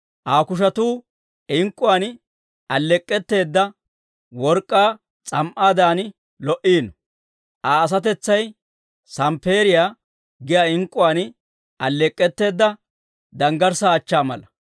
Aa kushetuu ink'k'uwaan alleek'k'etteedda work'k'aa s'am"aadan lo"iino; Aa asatetsay samppeeriyaa giyaa ink'k'uwaan alleek'k'etteedda, danggarssaa achchaa mala.